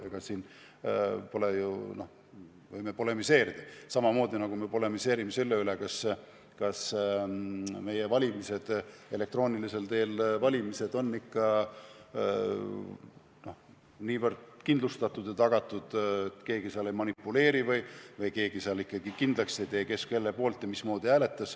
Muidugi me võime ka selle eelnõu puhul polemiseerida, samamoodi nagu me polemiseerime selle üle, kas meie elektroonilisel teel valimised on ikka piisavalt kindlustatud ja kas ikka on tagatud, et keegi ei manipuleeri, või kas on tagatud, et keegi kindlaks ei tee, kes kelle poolt hääletas.